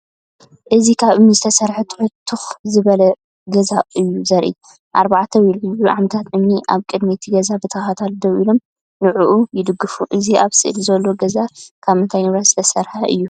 እዚ ካብ እምኒ ዝተሰርሐ ትሑትን ትኽ ዝበለን ገዛ እዩ ዘርኢ። ኣርባዕተ ወይ ልዕሊኡ ዓምድታት እምኒ ኣብ ቅድሚ እቲ ገዛ ብተኸታታሊ ደው ኢሎም ንዕኡ ይድግፉ። እዚ ኣብ ስእሊ ዘሎ ገዛ ካብ ምንታይ ንብረት ዝተሰርሐ እዩ?